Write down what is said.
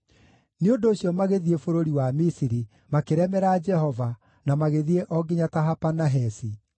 Nĩ ũndũ ũcio magĩthiĩ bũrũri wa Misiri, makĩremera Jehova, na magĩthiĩ o nginya Tahapanahesi.